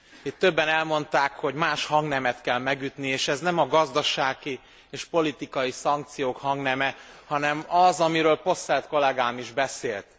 Itt többen elmondták, hogy más hangnemet kell megütni, és ez nem a gazdasági és politikai szankciók hangneme, hanem az, amiről Posselt kollegám is beszélt.